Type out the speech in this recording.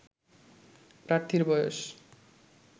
প্রার্থীর বয়স